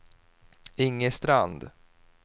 Inge Strand